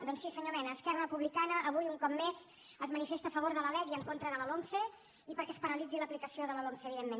doncs sí senyor mena esquerra republicana avui un cop més es manifesta a favor de la lec i en contra de la lomce i perquè es paralitzi l’aplicació de la lomce evidentment